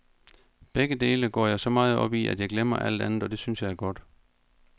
Begge dele går jeg så meget op i, at jeg glemmer alt andet, og det synes jeg er godt.